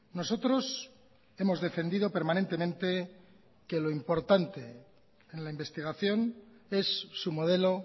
nosotros hemos defendido permanentemente que lo importante en la investigación es su modelo